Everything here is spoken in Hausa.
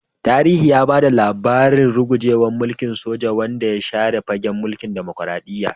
Tarihi ya ba da labarin rugujewar mulkin soja, wanda ya share fagen mulkin dimokuradiyya.